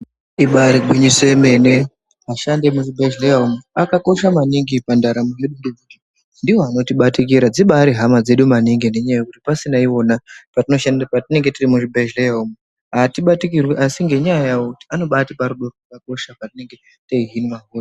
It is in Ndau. Ibari gwinyiso remene ashandi emuzvibhedhlera umu akakosha maningi pandaramo ngekuti ndiwo anotibatikira dzibari hama dzedu maningi ngekuti pasina iwona patinenge tiri muzvibhedhlera umu atibatikirwi asi ngenyaya yavo anotipa rudo ratinenge teihinwa.